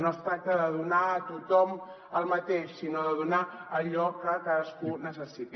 no es tracta de donar a tothom el mateix sinó de donar allò que cadascú necessiti